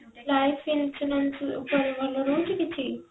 life insurance ଉପରେ ଭଲ ରହୁଛି କିଛି?